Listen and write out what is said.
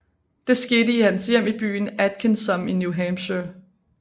Det skete i hans hjem i byen Atkinsom i New Hampshire